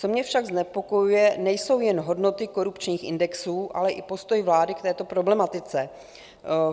Co mě však znepokojuje, nejsou jen hodnoty korupčních indexů, ale i postoj vlády k této problematice.